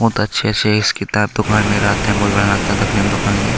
बहुत अच्छे से इस किताब में देखने में दुकान ये।